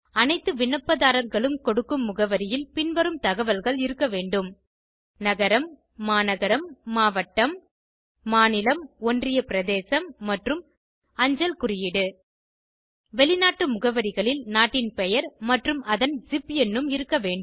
அனைத்து விண்ணப்பதாரர்களும் கொடுக்கும் முகவரியில் பின்வரும் தகவல்கள் இருக்க வேண்டும் நகரம்மாநகரம்மாவட்டம் மாநிலம்ஒன்றிய பிரதேசம் மற்றும் அஞ்சல் குறியீடு வெளிநாட்டு முகவரிகளில் நாட்டின் பெயர் மற்றும் அதன் ஸிப் எண்ணும் இருக்க வேண்டும்